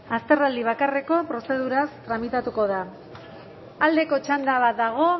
azterraldi bakarreko prozeduraz tramitatuko da aldeko txanda badago